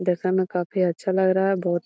देखे में काफी अच्छा लग रहा है बहुत --